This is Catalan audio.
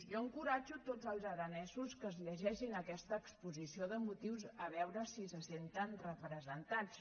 jo enco·ratjo tots els aranesos que es llegeixin aquesta exposi·ció de motius a veure si se senten representats